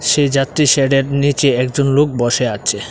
সে যাত্রী শেডের নীচে একজন লোক বসে আচে।